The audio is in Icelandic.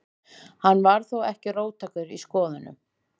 Hann var þó ekki róttækur í skoðunum.